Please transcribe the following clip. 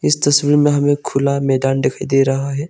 इस तस्वीर में हमें खुला मैदान दिखाई दे रहा है।